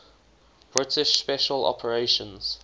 british special operations